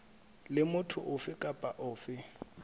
le motho ofe kapa ofe